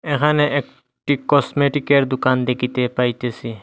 এখানে এক- -টি কসমেটিকের দুকান দেকিতে পাইতেসি।